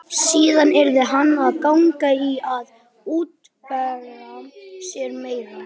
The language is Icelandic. Síðan yrði hann að ganga í að útvega sér meira.